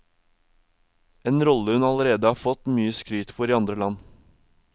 En rolle hun allerede har fått mye skryt for i andre land.